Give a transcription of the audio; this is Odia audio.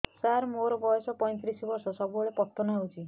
ସାର ମୋର ବୟସ ପୈତିରିଶ ବର୍ଷ ସବୁବେଳେ ପତନ ହେଉଛି